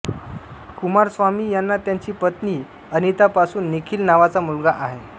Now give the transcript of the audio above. कुमारस्वामी यांना त्यांची पत्नी अनितापासून निखिल नावाचा मुलगा आहे